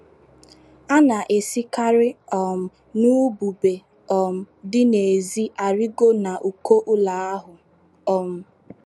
A na - esikarị um n’ubube um dị n’èzí arịgo n’uko ụlọ ahụ. um